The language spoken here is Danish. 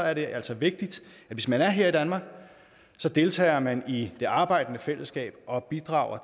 er det altså vigtigt at hvis man er her i danmark deltager man i det arbejdende fællesskab og bidrager